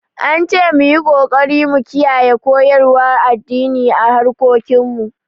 An ce mu yi ƙoƙari mu kiyaye koyarwar addini a harkokin mu